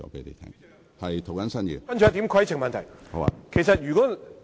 接下來是一項規程問題。